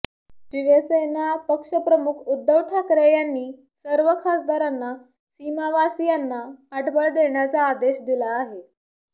शिवसेना पक्षप्रमुख उद्धव ठाकरे यांनी सर्व खासदारांना सीमावासीयांना पाठबळ देण्याचा आदेश दिला आहे